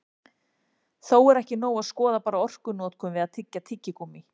Þó er ekki nóg að skoða bara orkunotkun við að tyggja tyggigúmmí.